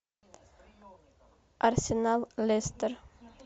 арсенал лестер